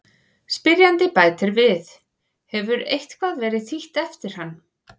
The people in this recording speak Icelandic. Spyrjandi bætir við: Hefur eitthvað verið þýtt eftir hann?